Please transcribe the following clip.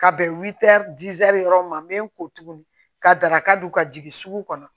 Ka bɛn yɔrɔ ma n bɛ n ko tuguni ka daraka dun ka jigin sugu kɔnɔ